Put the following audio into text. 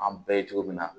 An bɛɛ ye cogo min na